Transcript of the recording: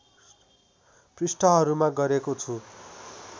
पृष्ठहरूमा गरेको छु